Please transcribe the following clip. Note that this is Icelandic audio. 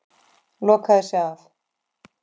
Lokaði sig af.